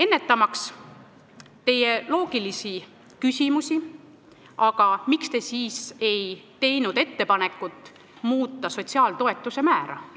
Teil võib tekkida loogiline küsimus, miks me siis ei teinud ettepanekut muuta riigieelarves sotsiaaltoetuste määra.